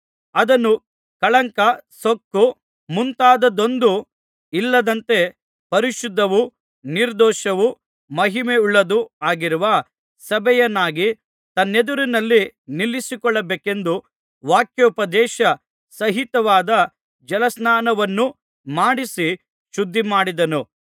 ಅದನ್ನು ಕಳಂಕ ಸುಕ್ಕು ಮುಂತಾದದ್ದೊಂದೂ ಇಲ್ಲದಂತೆ ಪರಿಶುದ್ಧವೂ ನಿರ್ದೋಷವೂ ಮಹಿಮೆಯುಳ್ಳದ್ದೂ ಆಗಿರುವ ಸಭೆಯನ್ನಾಗಿ ತನ್ನೆದುರಿನಲ್ಲಿ ನಿಲ್ಲಿಸಿಕೊಳ್ಳಬೇಕೆಂದು ವಾಕ್ಯೋಪದೇಶ ಸಹಿತವಾದ ಜಲಸ್ನಾನವನ್ನು ಮಾಡಿಸಿ ಶುದ್ಧಿಮಾಡಿದನು